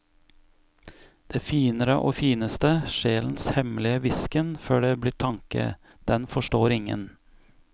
Det finere og fineste, sjelens hemmelige hvisken før det blir tanke, den forstår ingen.